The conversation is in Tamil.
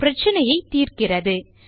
பிரச்சினையை தீர்க்கிறது